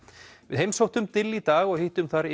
við heimsóttum dill í dag og hittum þar